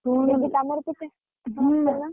ଦିଦି ତମର ପିଠା, କରିଛ ନା?